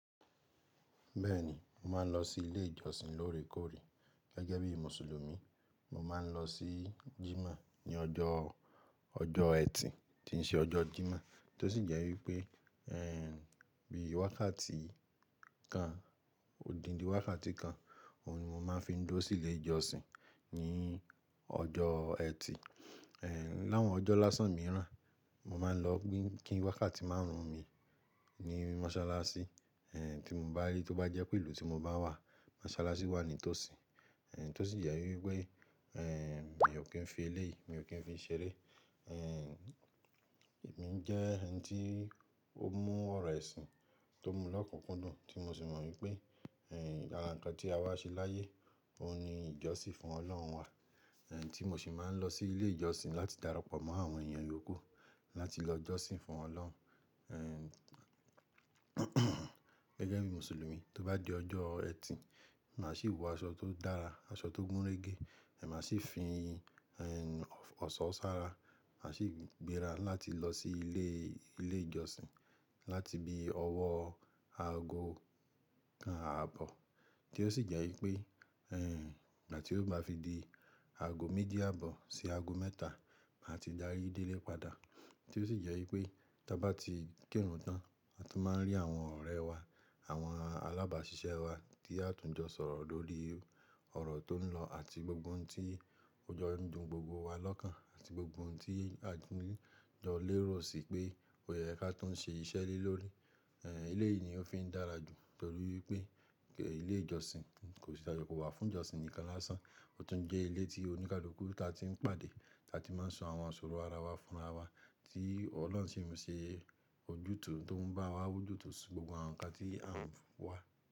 Bẹ́ẹ̀ ni, mo máa ń lọ sí ilé ìjọsìn lóòrèkóòrè gẹ́gẹ́ bí Mùsùlùmí. Mo máa ń lọ sí Jímọ̀ ní ọjọ́, ọjọ́ ẹtì tí ń ṣe ọjọ́ Jímọ̀ tó sì jẹ́ wípé, bí wákàtí kan, òdindí wákàtí kan, òun ni mo máa ń fi ń dúró sí ilé ìjọsìn ní ọjọ́ ẹtì. Láwọn ọjọ́ lásán mìíràn, mo máa ń lọ kí wákàtí márùn-ún mi ní mọ́sálásí, tí mo bá rí tó bá jẹ́ pé ìlú tí mo bá wà, mọ́sálásí wà ní tòsí. Tó sì jẹ́ wípé, mi ò kí ń fi eléyìí, mi ò kí ń fi i ṣeré. Èmi ń jẹ́ ẹni tí ó mú ọ̀rọ̀ ẹ̀sìn tó mú lọ́kùnkúndùn tí mo sì mọ̀ wípé, àra nǹkan tí a wá ṣe láyé, òun ni ìjọsìn fún Ọlọ́run wa. Tí mo sì máa ń lọ sí ilé ìjọsìn láti darapọ̀ mọ́ àwọn èèyàn yoku láti lọ jọ́sìn fún Ọlọ́run. Gẹ́gẹ́ bí Mùsùlùmí tó bá di ọjọ́ ẹtì, màá sì wọ aṣọ tó dára, aṣọ tó gúnrégé. Èmi má sì fi ọ̀ṣọ́ ṣára, màá sì gbéra láti lọ sí ilé, ilé ìjọsìn láti bí ọwọ́ aago kan ààbọ̀ tí ó sì jẹ́ wípé ìgbà tí ó bá fi di aago méjì ààbọ̀ sí aago mẹ́ta, màá ti dárí délé padà tí ó sì jẹ́ wípé tí a bá ti kẹ́rùn tán, a tún máa ń rí àwọn ọ̀rẹ́ wà, àwọn alábàáṣiṣẹ́ wa tí a tún jọ sọ̀rọ̀ lórí ọ̀rọ̀ tó ń lọ àti gbogbo ohun tí ojo ń dùn gbogbo wa lọ́kàn àti gbogbo ohun tí à ń jọ lérò sí pé ó yẹ kí a tún ṣe iṣẹ́ lélórí. Eléyìí ni ó fi ń dára jù torí wípé ilé ìjọsìn kò sì dájọ́ kó wà fún ìjọsìn nìkan lásán. Ó tún jẹ́ ilé tí oníkálukú ta tí ń pàdé, ta tí máa ń sọ àwọn ìṣòro ara wa fúnra wa tí Ọlọ́run sì ń ṣe ojútùú tó ń bá wa wújútò sí gbogbo àwọn nǹkan tí à ń wá.